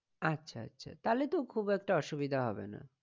আচ্ছা আচ্ছা তাহলে তো খুব একটা অসুবিধা হবে না।